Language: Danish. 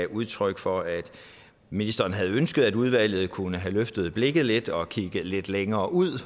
udtryk for at ministeren havde ønsket at udvalget kunne have løftet blikket lidt og kigget lidt længere ud